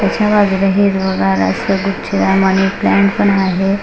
त्याच्या बाजूला हिरवगार गुच्छ आणि मनी प्लांट पण आहे.